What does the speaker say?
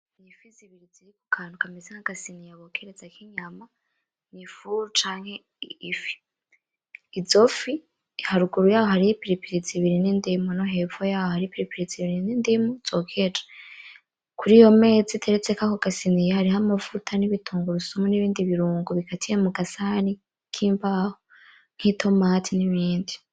Akantu kameze nk'agasiniya bokerezako inyama ,ifu, canke Ifi ,izo fi haruguru yaho hariho ipilipili zibiri n'indimu, nohepfo yaho hariho ipilipili zibiri n'indimu zokeje, kuriyomeza iteretseko ako gasiniya hariho amavuta n'igitungurusumu n'ibindi birungo bikatiye mugasahani k'imbaho k'itomate n'ibindi.